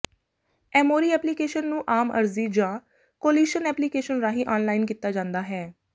Emory application ਨੂੰ ਆਮ ਅਰਜ਼ੀ ਜਾਂ ਕੋਲੀਸ਼ਨ ਐਪਲੀਕੇਸ਼ਨ ਰਾਹੀਂ ਆਨਲਾਈਨ ਕੀਤਾ ਜਾਂਦਾ ਹੈ